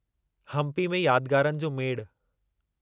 हम्पी में यादगारनि जो मेड़ु